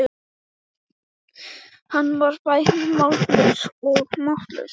Hann var bæði mállaus og máttlaus.